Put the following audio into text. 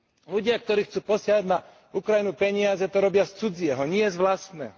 Ľudia, ktorí chcú posielať na Ukrajinu peniaze, to robia z cudzieho, nie z vlastného.